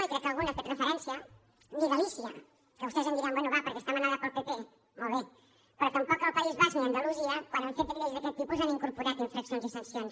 i crec que algú hi ha fet referència ni galícia que vostès em diran bé va perquè està manada pel pp molt bé però tampoc el país basc ni andalusia quan han fet lleis d’aquest tipus han incorporat infraccions i sancions